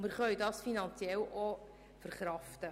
Diesen können wir finanziell auch verkraften.